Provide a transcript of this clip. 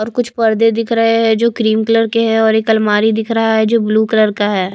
और कुछ पर्दे दिख रहे हैं जो क्रीम कलर के हैं और एक अलमारी दिख रहा है जो ब्लू कलर का है।